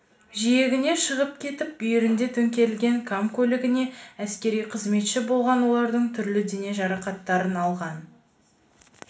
жиегіне шығып кетіп бүйіріне төңкерілген кам көлігінде әскери қызметші болған олардың түрлі дене жарақаттарын алған